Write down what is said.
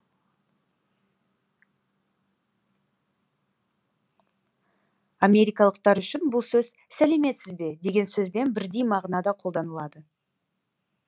америкалықтар үшін бұл сөз сәлеметсіз бе деген сөзбен бірдей мағынада қолданылады